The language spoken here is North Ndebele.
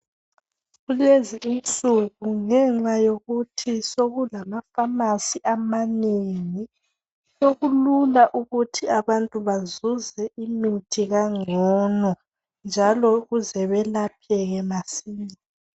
Kulezi insuku ngenxa yokuthi sekulamapharmacy amanengi. Sekulula ukuthi abantu bazuze imithi kalngono, njalo ukuze belapheke, masinya.